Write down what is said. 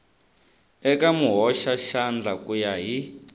eka muhoxaxandla ku ya hi